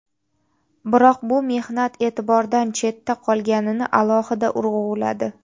biroq bu mehnat e’tibordan chetdan qolganini alohida urg‘uladi.